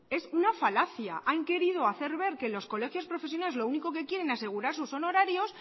es una falacia han querido hacer ver que los colegios profesionales lo único que quieren es asegurar sus honorarios